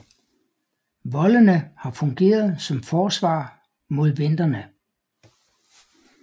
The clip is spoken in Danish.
Voldene har fungeret som forsvar mod venderne